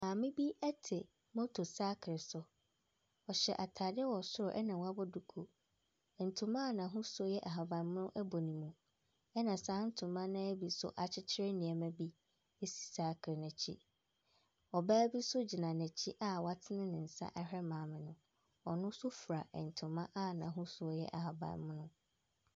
Maame bi te moto sakre so. Ɔhyɛ atade wɔ soro na wabɔ duku. Ntoma a n'ahosuo yɛ ahaban mono bɔ ne mu, ɛnna saa ntoma no ara bi nso akyekyere nneɛma bi si sakre no akyi. Ɔbaa bi nso gyina n'akyi a watena ne nsa ahwɛ maame no. Ɔno nso fura ntoma a n'ahosuo yɛ ahaban mono.